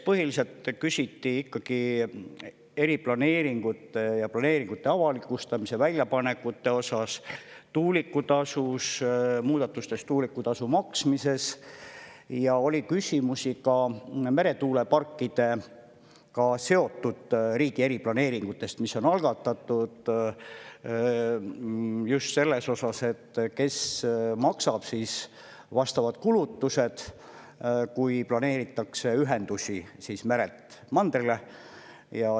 Põhiliselt küsiti eriplaneeringute ja planeeringute avalikustamise, väljapanekute, tuulikutasu maksmise kohta ning oli küsimusi ka meretuuleparkidega seotud riigi eriplaneeringute kohta, mis on algatatud, just selles osas, et kes maksab kinni vastavad kulutused, kui ühendusi planeeritakse merelt mandrile.